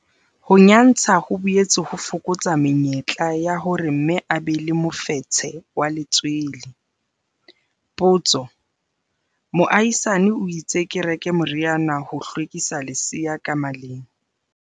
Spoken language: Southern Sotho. Ho nyantsha ho boetse ho fokotsa menyetla ya hore mme a be le mofetshe wa letswele. Potso- Moahisane o itse ke reke moriana ho hlwekisa lesea ka maleng.